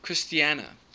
christiana